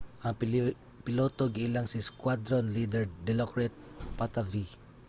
ang piloto giilang si squadron leader dilokrit pattavee